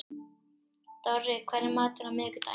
Dorri, hvað er í matinn á miðvikudaginn?